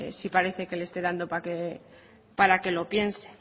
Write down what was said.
sí parece que le esté dando para que lo piense